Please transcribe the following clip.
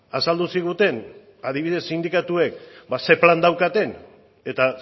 azaldu ziguten adibidez sindikatuek ze plan daukaten eta